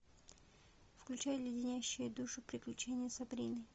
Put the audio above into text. включай леденящие душу приключения сабрины